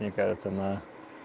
мне кажется на